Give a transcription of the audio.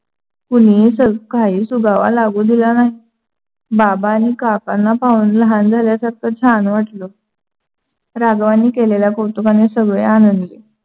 कुणी काही सुगावा लागू दिला नाही. बाबा आणि काकांना पाहून लहान झाल्यासारखं छान वाटलं. राघवानी केलेल्या कौतुकानी सगळे आनंदी